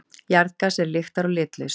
Jarðgas er lyktar- og litlaust.